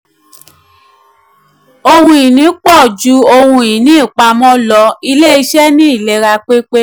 ohun ìní pọ̀ um ju ohun um ìní ìpàmọ́ lọ ilé-iṣẹ́ ní ìlera um pépé.